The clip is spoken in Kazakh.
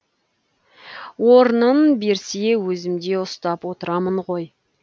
орнын берсе өзімде ұстап отырамын ғой